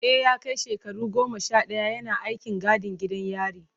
E, ya kai shekara goma sha daya yana aikin gadin gidan yari.